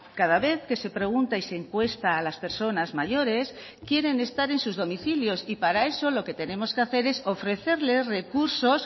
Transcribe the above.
cada vez que se pregunta y se encuesta a las personas mayores quieren estar en sus domicilios y para eso lo que tenemos que hacer es ofrecerles recursos